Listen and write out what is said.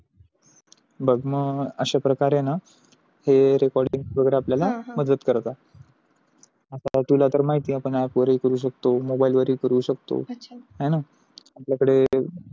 बघ ना अशा प्रकारे हे न recording वगेरे आपल्या ला मदत करतात. आता तुला तर माहिती आहे app वारी करू शकतो mobile वर ही करू शकतो आहे न आपल्या कडे